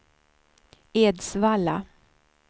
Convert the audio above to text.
Edsvalla